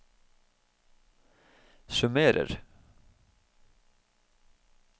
summerer